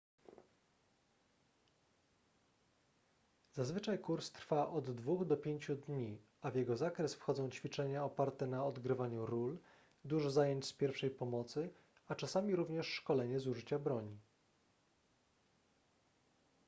zazwyczaj kurs trwa od 2 do 5 dni a w jego zakres wchodzą ćwiczenia oparte na odgrywaniu ról dużo zajęć z pierwszej pomocy a czasami również szkolenie z użycia broni